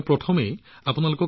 প্ৰথমে সেইবোৰৰ বিষয়ে কওঁ